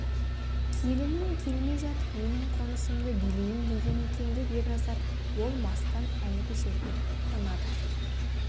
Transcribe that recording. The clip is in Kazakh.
келінім келмей жатып менің қонысымды билейін деген екен деп ерназар болмастан әлгі жерге қонады